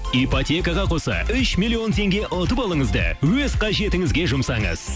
ипотекаға қоса үш миллион теңге ұтып алыңыз да өз қажетіңізге жұмсаңыз